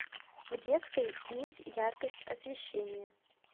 в детской снизь яркость освещения